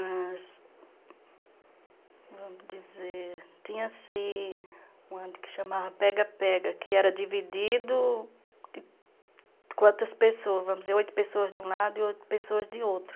as, vamos dizer, tinha assim, o que chamava pega-pega, que era dividido de quantas pessoas, vamos dizer, oito pessoas de um lado e oito pessoas de outro.